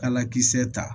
Kala kisɛ ta